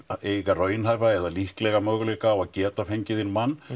raunhæfa eða líklega möguleika á að geta fengið inn mann